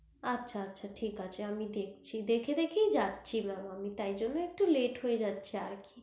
আচ্ছা ঠিক আছে আমি দেখছি দেখে দেখেই যাচ্ছি mam আমি তাই জন্যই একটু late হয়ে যাচ্ছে আর কি